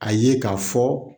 A ye k'a fɔ